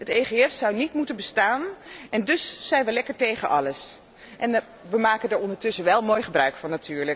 Het EGF zou niet moeten bestaan en dus zijn wij lekker tegen alles, maar wij maken er ondertussen natuurlijk wel mooi gebruik van.